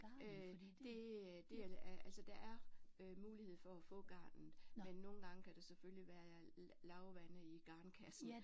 Øh det det altså der er øh mulighed for at få garnet men nogle gange kan der selvfølgelig være lavvande i garnkassen